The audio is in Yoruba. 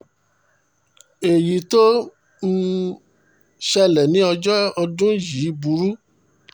èyí tó um ṣẹlẹ̀ ní ọjọ́ ọdún yìí burú